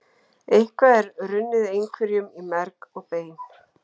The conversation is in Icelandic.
Eitthvað er runnið einhverjum í merg og bein